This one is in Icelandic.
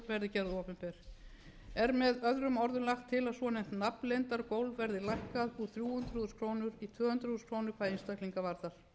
verði gerð opinber er með öðrum orðum lagt til a svonefnt nafnleyndargólf verði lækkað úr þrjú hundruð þúsund krónur í tvö hundruð þúsund krónur hvað einstaklinga varðar